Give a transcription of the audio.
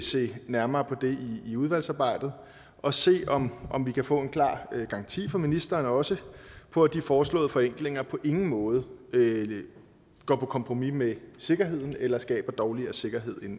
se nærmere på det i udvalgsarbejdet og se om om vi kan få en klar garanti fra ministeren også på at de foreslåede forenklinger på ingen måde går på kompromis med sikkerheden eller skaber dårligere sikkerhed